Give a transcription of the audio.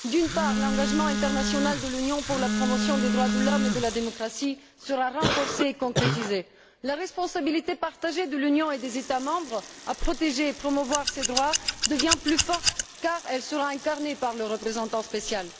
D'une part, l'engagement international de l'Union pour la promotion des droits de l'homme et de la démocratie sera renforcé et concrétisé. La responsabilité partagée de l'Union et des États membres pour la protection et la promotion de ces droits devient plus forte car elle sera incarnée par le représentant spécial.